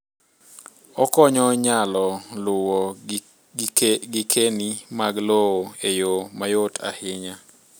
Okonyo nyalo luwo gikeni mag lowo eyoo mayot ahinya.